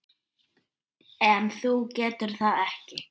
En þú getur það ekki.